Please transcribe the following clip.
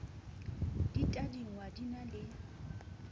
di tadingwa di na le